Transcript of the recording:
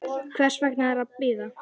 Hvers er að bíða?